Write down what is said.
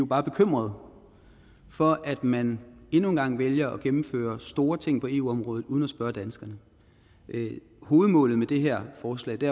bare bekymrede for at man endnu en gang vælger at gennemføre store ting på eu området uden at spørge danskerne hovedmålet med det her forslag det